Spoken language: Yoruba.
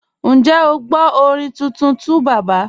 Ǹjẹ́ o gbọ orin tuntun 2Baba?